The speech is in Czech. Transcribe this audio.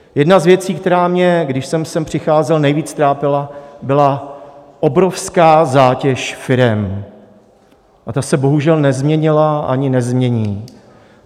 Jedna z věcí, která mě, když jsem sem přicházel, nejvíc trápila, byla obrovská zátěž firem a ta se bohužel nezměnila ani nezmění.